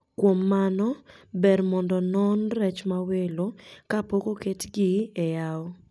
Kuom mano ber mondo onon rech mawelo kapok oketgi e yao